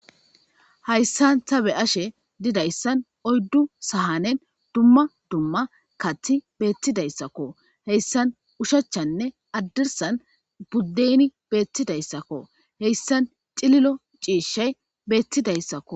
Haysan ta be'ashe dizaysan oyddu sanen kathi betidaysako , heysan ushachanne hadirsan buden betidaysako, heysan cililo cishay betidaysako.